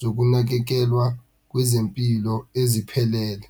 zokunakekelwa kwezempilo eziphelele.